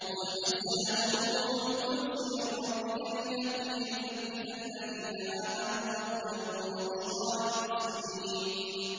قُلْ نَزَّلَهُ رُوحُ الْقُدُسِ مِن رَّبِّكَ بِالْحَقِّ لِيُثَبِّتَ الَّذِينَ آمَنُوا وَهُدًى وَبُشْرَىٰ لِلْمُسْلِمِينَ